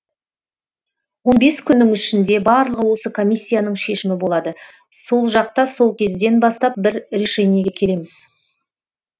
он бес күннің ішінде барлығы осы комиссияның шешімі болады сол жақта сол кезден бастап бір решениеге келеміз